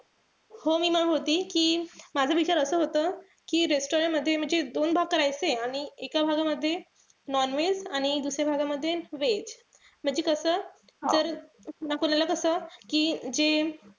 हो मी म्हणत होती कि माझा विचार असा होता कि restaurant मध्ये म्हणजे दोन भाग करायचे आणि एका भागामध्ये non-veg आणि दुसऱ्या भागामध्ये veg. म्हणजे कस जर कोणाला कस कि जे,